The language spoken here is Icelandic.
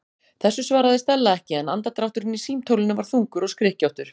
Þessu svaraði Stella ekki en andardrátturinn í símtólinu var þungur og skrykkjóttur.